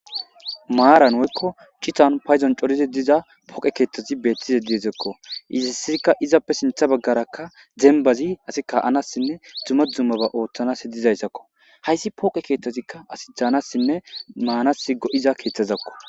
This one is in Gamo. Maaran woykko citan payzon corize diza poqe keeththazi beettize diezekko iza isirikka izappe sintha baggarakka dembazi asi ka7anassinne dzuma dzumaba ooththanas hedizayssakko hayssi pooqe keeththazikka asi daanassinne maanasi go7iza keeththazakko.